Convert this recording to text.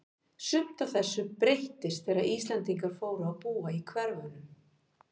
Sumt af þessu breyttist þegar Íslendingar fóru að búa í hverfunum.